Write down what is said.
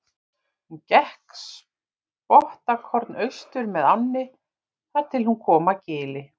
Hún gekk spottakorn austur með ánni þar til hún kom að gili.